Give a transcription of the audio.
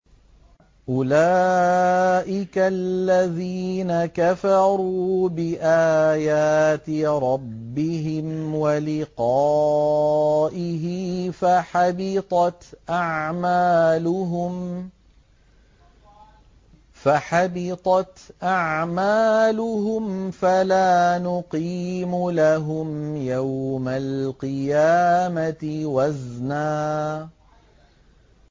أُولَٰئِكَ الَّذِينَ كَفَرُوا بِآيَاتِ رَبِّهِمْ وَلِقَائِهِ فَحَبِطَتْ أَعْمَالُهُمْ فَلَا نُقِيمُ لَهُمْ يَوْمَ الْقِيَامَةِ وَزْنًا